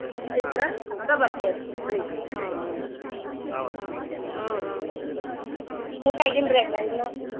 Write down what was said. ಇದ್ರ ಅಷ್ಟ ಬರ್ತೆವ್ರಿ Hubli ಗ್ ಹ್ಮ್ ಹ್ಮ್ ಹೂನ್ರಿ ಹ್ಮ್ ಹೂನ್ರಿ ಊಟ ಅಗಿಲ್ರಿ ಅಂಗಾರ ಇನ್ನು?